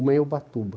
Uma é Ubatuba.